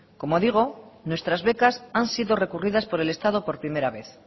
como digo nuestras becas han sido recurridas por el estado por primera vez